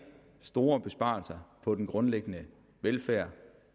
store besparelser på den grundlæggende velfærd